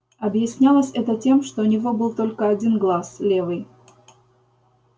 объяснялось это тем что у него был только один глаз левый